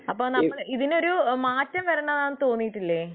അപ്പൊ ഇതിനൊരു മാറ്റം വേണമെന്ന് തോന്നിയിട്ടില്ലേ